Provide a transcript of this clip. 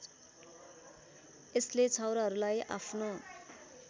यसले छाउराहरूलाई आफ्नो